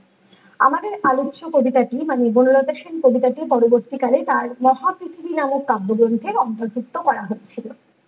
আমাদের আলোচ্য কবিতাটি মানে বনলতা সেন কবিতাটি পরবর্তী কালে তার মহা পৃথিবী নামক কাব্যগ্রন্থে এ অন্তর্ভুক্ত করা হয়েছিল ।